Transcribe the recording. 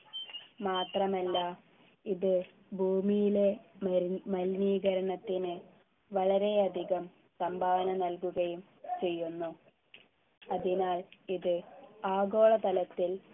മാത്രമല്ല ഇത് ഭൂമിയിലെ മലി മലിനീകരണത്തിന് വളരെയധികം സംഭാവന നൽകുകയും ചെയ്യുന്നു അതിനാൽ ഇത് ആഗോളതലത്തിൽ